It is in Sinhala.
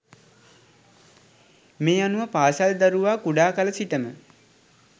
මේ අනුව පාසල් දරුවා කුඩාකල සිටම